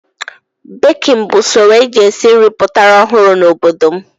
Bekin bụ usoro e ji esi nri pụtara ọhụrụ n'obodo m.